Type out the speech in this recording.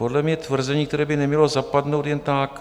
Podle mě tvrzení, které by nemělo zapadnout jen tak.